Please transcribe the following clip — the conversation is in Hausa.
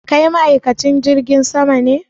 Kai ma'aikacin jirgin ne?